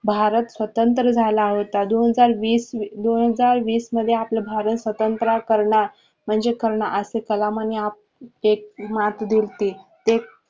भारत स्वतंत्र झाला होता दोन हजार वीस मध्ये आपलं भारत स्वतंत्र करणा म्हणजे करणा असे कलामांनी मार्ग दिले.